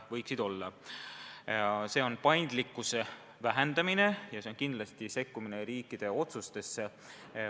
See oleks paindlikkuse vähendamine ja kindlasti ka sekkumine riikide otsustesse.